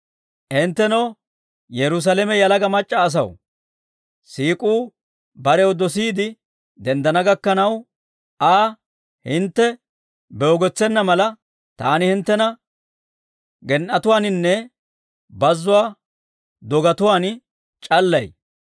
Hinttenoo Yerusaalame yalaga mac'c'a asaw, siik'uu barew dosiide denddana gakkanaw, Aa hintte beegotsena mala, taani hinttena gen"etuwaaninne bazzuwaa dogetuwaan c'allay.